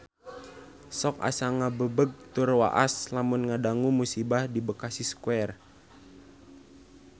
Sok asa ngagebeg tur waas lamun ngadangu musibah di Bekasi Square